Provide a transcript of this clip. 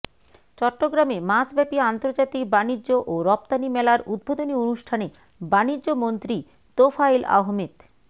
চট্টগ্রামে মাসব্যাপী আন্তর্জাতিক বাণিজ্য ও রফতানি মেলার উদ্বোধনী অনুষ্ঠানে বাণিজ্য মন্ত্রী তোফায়েল আহমেদ